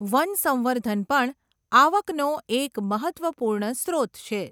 વનસંવર્ધન પણ આવકનો એક મહત્ત્વપૂર્ણ સ્રોત છે.